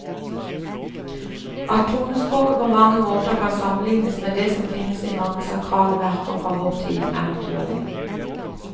At tonespråket på mange måter kan sammenlignes med det som finnes i mange sakrale verker fra vår tid, er naturlig.